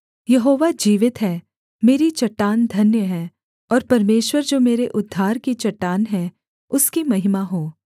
यहोवा जीवित है मेरी चट्टान धन्य है और परमेश्वर जो मेरे उद्धार की चट्टान है उसकी महिमा हो